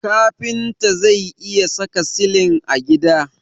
Kafinta zai iya saka silin a gida.